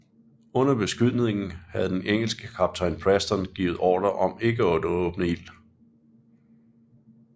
Under beskydningen havde den engelske kaptajn Preston givet ordre om ikke at åbne ild